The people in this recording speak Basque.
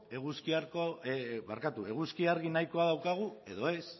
eguzki argi nahiko daukagu edo ez